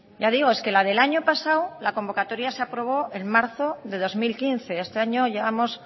ya digo es que la del año pasado la convocatoria se aprobó en marzo de dos mil quince este año llevamos